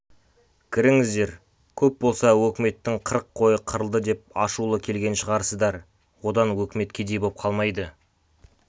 кіріңіздер көп болса өкіметтің қырық қойы қырылды деп ашулы келген шығарсыздар одан өкімет кедей боп қалмайды